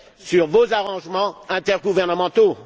sur vos arrangements intergouvernementaux?